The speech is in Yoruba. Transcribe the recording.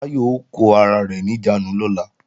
Báyọ̀ ó kó ara rẹ̀ níjàánu lọ́la